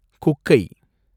குக்கை